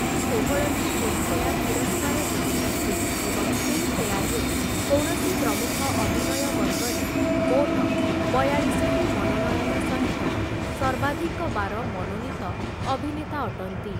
ସେ ଷୋହଳଟି ଫିଲ୍ମ୍‌ଫେୟାର୍ ପୁରସ୍କାର ଜିତିଛନ୍ତି ଏବଂ ଫିଲ୍ମ୍‌ଫେୟାର୍‌ରେ କୌଣସି ପ୍ରମୁଖ ଅଭିନୟ ବର୍ଗରେ ମୋଟ ବୟାଳିଶଟି ମନୋନୟନ ସହିତ ସର୍ବାଧିକ ବାର ମନୋନୀତ ଅଭିନେତା ଅଟନ୍ତି ।